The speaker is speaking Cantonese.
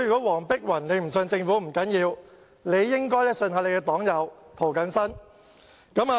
黃碧雲議員不相信政府不要緊，但也應該相信她的黨友涂謹申議員。